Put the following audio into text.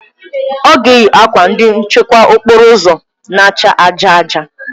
Ọ ga-eyi akwa ndị nchekwa okporo ụzọ na-acha aja aja